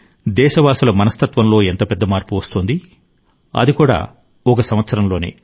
దేశవాసుల మనస్తత్వంలో ఎంత పెద్ద మార్పు వస్తోంది అది కూడా ఒక సంవత్సరంలోనే